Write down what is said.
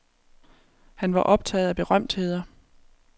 Han var optaget af berømtheder.